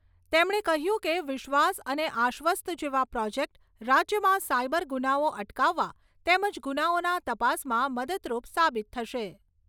તેમણે કહ્યું કે વિશ્વાસ અને આશ્વસ્ત જેવા પ્રોજેકટ રાજ્યમાં સાઇબર ગુનાઓ અટકાવવા તેમજ ગુનાઓના તપાસમાં મદદરૂપ સાબિત થશે.